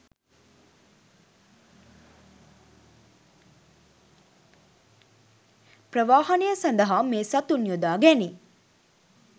ප්‍රවාහනය සඳහා මේ සතුන් යොදා ගැනේ.